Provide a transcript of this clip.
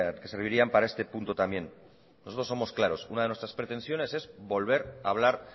que servirían para este punto también nosotros somos claros una de nuestras pretensiones es volver a hablar